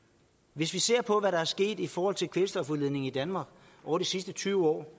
hvis vi ser på hvad der er sket i forhold til kvælstofudledningen i danmark over de sidste tyve år